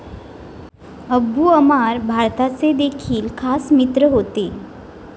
Abu Ammar भारताचे देखील खास मित्र होते.